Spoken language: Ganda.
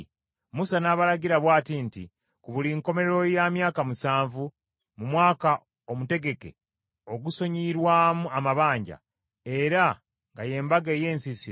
Musa n’abalagira bw’ati nti, “Ku buli nkomerero ya myaka musanvu, mu mwaka omutegeke ogusonyiyirwamu amabanja, era nga y’Embaga ey’Ensiisira,